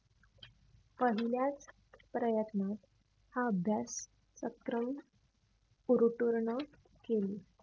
पहिल्याच प्रयत्नात हा अभ्यास क्रम पुर्तुर्ण केली.